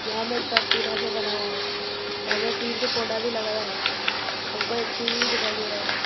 यहां मे छत टीना से बनाया है यहां मे तीन ठो पौधा भी लगाया हैं हमको एक सीढ़ी भी दिखाई दे रहा --